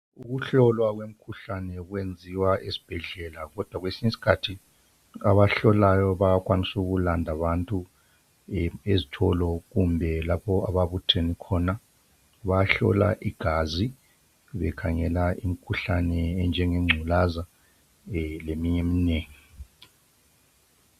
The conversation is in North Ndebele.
Ukuhlolwa kwemikhuhlane kwenziwa esibhedlela, kodwa kwesinye isikhathi abahlolayo bayakwanisa ukulanda abantu ezitolo kumbe lapho ababuthene khona. Bayahlola igazi bekhangela imikhuhlane enjenge ngculaza leminye eminengi.